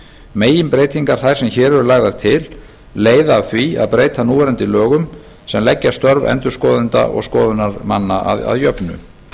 meginbreytingar þær sem hér eru lagðar til leiða af því að breyta núverandi lögum sem leggja störf endurskoðenda og skoðunarmanna að jöfnu